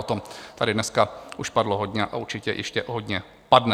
O tom tady dneska už padlo hodně a určitě ještě hodně padne.